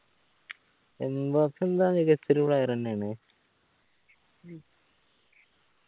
Mbappe എന്താ മികച്ചൊരു player എന്നെയാണ്